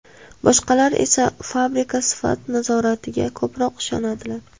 Boshqalar esa fabrika sifat nazoratiga ko‘proq ishonadilar.